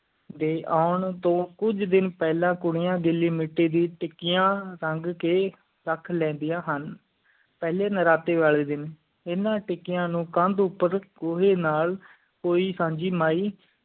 ਡੇ ਊਂ ਤੂੰ ਕੁਛ ਦਿਨ ਪਹਿਲਤ ਕੁੜੀਆਂ ਗਿੱਲੀ ਮਿੱਟੀ ਦੀਆਂ ਟਿੱਕੀਆਂ ਰੱਖ ਲੈਂਦੀਆਂ ਹਨ ਪਹਿਲੀ ਨਵਰਾਤਰੀ ਲਈ ਦਿਨ ਇੰਨਾ ਟਿੱਕੀਆਂ ਨੂੰ ਕਾਂਡ ਪਰ ਕੋਈ ਨਾਲ ਕੋਈ ਸਾਂਝੀ ਮਯੀ